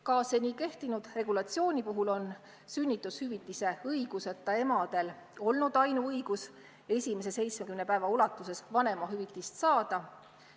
Ka seni kehtinud regulatsiooni puhul on sünnitushüvitise õiguseta emadel olnud ainuõigus esimese 70 päeva ulatuses vanemahüvitist saada.